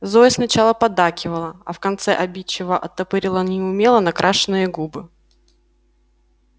зоя сначала поддакивала а в конце обидчиво оттопырила неумело накрашенные губы